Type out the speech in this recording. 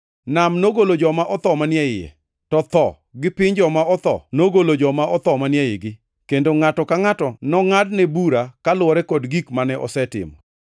Nam nogolo joma otho manie iye, to Tho gi Piny Joma otho nogolo joma otho manie igi, kendo ngʼato ka ngʼato nongʼadne bura koluwore kod gik mane osetimo.